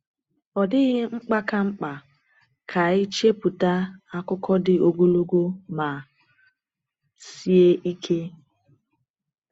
Ọ dịghị mkpa ka mkpa ka anyị chepụta akụkọ dị ogologo ma sie ike.